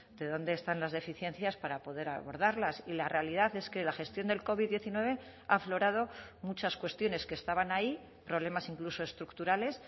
de dónde están las deficiencias para poder abordarlas y la realidad es que la gestión del covid diecinueve ha aflorado muchas cuestiones que estaban ahí problemas incluso estructurales